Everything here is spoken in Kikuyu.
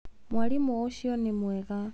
Mwarimũ ũcio nĩ mwega.